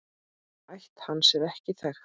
Ætt hans er ekki þekkt.